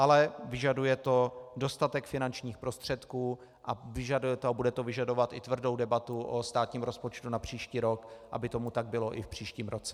Ale vyžaduje to dostatek finančních prostředků a bude to vyžadovat i tvrdou debatu o státním rozpočtu na příští rok, aby tomu tak bylo i v příštím roce.